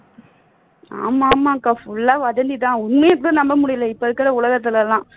ஆமா ஆமா அக்கா புல்லா வதந்தி தான் உண்மையை இப்ப நம்ப முடியல இப்ப இருக்குற உலகத்தில் எல்லாம்